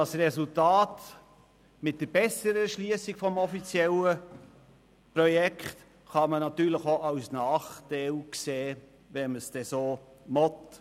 Das Resultat mit der besseren Erschliessung vom offiziellen Projekt kann man natürlich auch als Nachteil sehen, wenn man es denn so will.